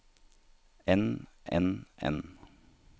enn enn enn